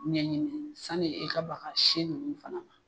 Ɲɛɲini sani i ka ba ka si nunnu fana na.